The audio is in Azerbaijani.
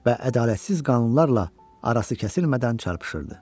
Və ədalətsiz qanunlarla arası kəsilmədən çarpışırdı.